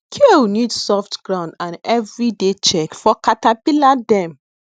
kale need soft ground and everyday check for caterpillar dem